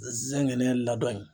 Zɛngɛnɛ ladɔnni in.